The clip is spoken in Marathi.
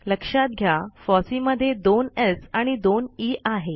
लक्षात घ्या फॉसी मध्ये दोन स् आणि दोन ई आहे